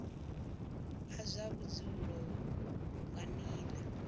a zwa vhudzulo nga nila